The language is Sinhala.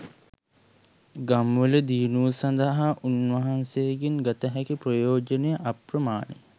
ගම්වල දියුණුව සඳහා උන්වහන්සේගෙන් ගත හැකි ප්‍රයෝජනය අප්‍රමාණය.